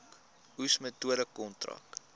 oes metode kontrak